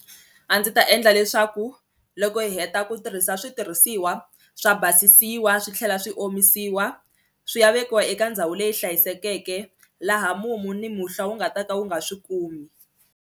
A ndzi ta endla leswaku loko hi heta ku tirhisa switirhisiwa swa basisiwa swi tlhela swi omisiwa swi ya vekiwa eka ndhawu leyi hlayisekeke laha mumu ni muhlwa wu nga ta ka wu nga swi kumi.